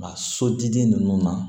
A sotigi ninnu na